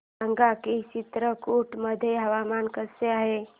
सांगा की चित्रकूट मध्ये हवामान कसे आहे